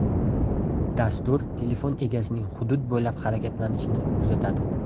Dastur telefon egasining hudud bo‘ylab harakatlanishini kuzatadi.